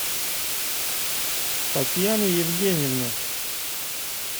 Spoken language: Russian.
татьяны евгеньевны